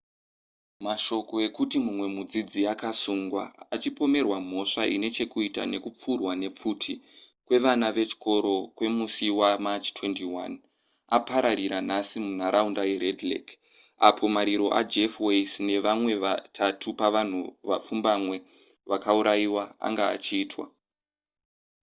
mashoko ekuti mumwe mudzidzi akasungwa achipomerwa mhosva ine chekuita nekupfurwa nepfuti kwevana vechikoro kwemusi wamarch 21 apararira nhasi munharaunda yered lake apo mariro ajeff weise nevamwe vatatu pavanhu vapfumbamwe vakaurayiwa anga achiitwa